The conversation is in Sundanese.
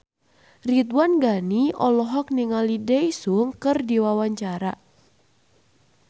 Ridwan Ghani olohok ningali Daesung keur diwawancara